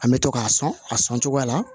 An bɛ to k'a sɔn a sɔn cogoya la